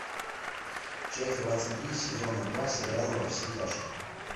часть двадцать три сезона два сериала во все тяжкие